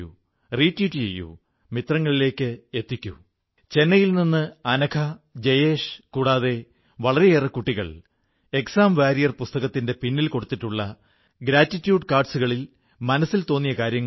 രാജ്യവുമായി ബന്ധപ്പെട്ട ഏതെങ്കിലുമൊരു ഉത്തരവാദിത്വം നിർവ്വഹിക്കുന്നതിന്റെ ഭാഗമായി വീട്ടിലില്ലാത്ത കുടുംബത്തിൽ നിന്നകന്നു കഴിയുന്ന ഓരോ വ്യക്തിയോടും ഞാൻ ഹൃദയപൂർവ്വം കൃതജ്ഞത വ്യക്തമാക്കുന്നു